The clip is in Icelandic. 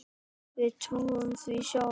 Við trúðum því sjálf.